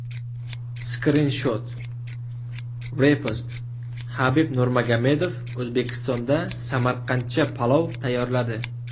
Skrinshot: Repost Habib Nurmagomedov O‘zbekistonda samarqandcha palov tayyorladi .